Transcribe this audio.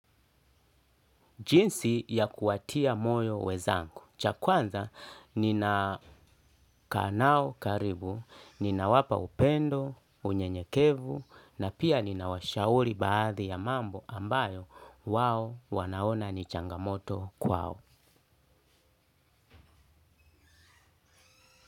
Jinsi ya kuwatia moyo wenzangu. Chakwanza, nina kaa nao karibu, nina wapa upendo, unyenyekevu, na pia nina washauri baadhi ya mambo ambayo wao wanaona ni changamoto kwao.